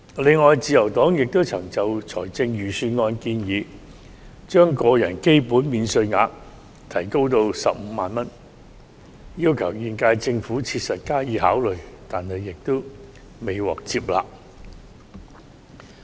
此外，自由黨亦曾建議預算案提高個人基本免稅額至15萬元，要求現屆政府切實考慮，但未獲接納。